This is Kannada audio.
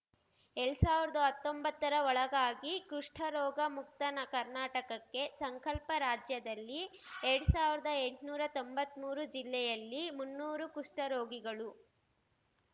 ಎಲ್ಡ್ ಸಾವರ್ದಾ ಹತ್ತೊಂಬತ್ತರ ಒಳಗಾಗಿ ಕುಷ್ಠರೋಗ ಮುಕ್ತ ನ ಕರ್ನಾಟಕಕ್ಕೆ ಸಂಕಲ್ಪ ರಾಜ್ಯದಲ್ಲಿ ಎರ್ಡ್ ಸಾವರ್ದಾ ತೊಂಬತ್ಮೂರು ಜಿಲ್ಲೆಯಲ್ಲಿ ಮುನ್ನೂರು ಕುಷ್ಠರೋಗಿಗಳು